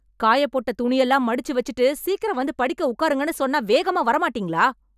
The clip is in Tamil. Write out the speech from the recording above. காயப்போட்ட துணியெல்லாம் மடிச்சு வெச்சுட்டு, சீக்கிரம் வந்து படிக்க உக்காருங்கன்னு சொன்னா வேகமா வரமாட்டீங்களா...